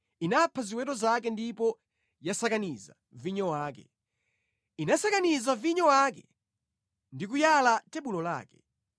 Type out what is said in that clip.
Inapha ziweto zake ndipo yasakaniza vinyo wake; inasakaniza vinyo wake ndi kuyala tebulo lake.